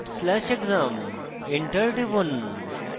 dot slash exam enter টিপুন